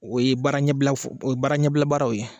O ye baara ɲɛ bila fɔ o ye baara ɲɛbila baaraw ye